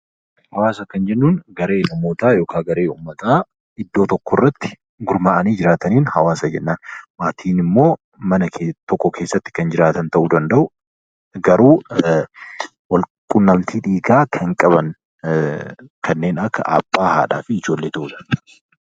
Hawaasa kan jennuun garee namootaa yookaan uummataa iddoo tokko irratti gurmaa'anii jiraataniin hawaasa jennaan. Maatiin immoo mana tokko keessa kan jiraatan ta'uu danda'u garuu wal quunnamtii dhiigaa kan qaban kanneen akka abbaa, haadhaa, fi ijoollee ta'uu danda'a.